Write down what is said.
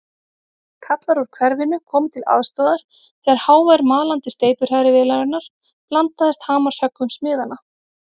Kallar úr hverfinu komu til aðstoðar þegar hávær malandi steypuhrærivélarinnar blandaðist hamarshöggum smiðanna.